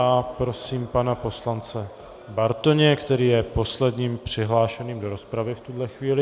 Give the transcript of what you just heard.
A prosím pana poslance Bartoně, který je posledním přihlášeným do rozpravy v tuhle chvíli.